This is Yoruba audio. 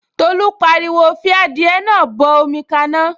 Tolú pariwo, 'fi adìẹ náà bọ omi gbóná